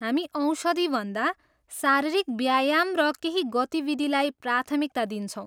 हामी औषधिभन्दा शारीरिक व्यायाम र केही गतिविधिलाई प्राथमिकता दिन्छौँ।